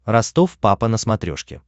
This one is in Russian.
ростов папа на смотрешке